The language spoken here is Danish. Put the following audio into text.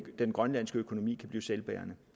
grønlandske økonomi kan blive selvbærende